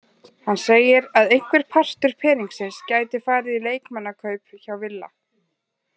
Hann segir að einhver partur peningsins gæti farið í leikmannakaup hjá Villa.